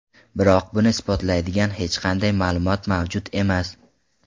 Biroq buni isbotlaydigan hech qanday ma’lumot mavjud emas.